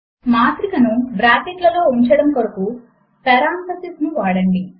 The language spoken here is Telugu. మాత్రిక ను బ్రాకెట్ లలో ఉంచడము కొరకు పెరాన్థసిస్ ను వాడండి